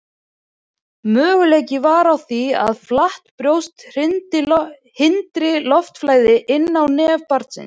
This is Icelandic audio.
möguleiki er á því að flatt brjóst hindri loftflæði inn í nef barns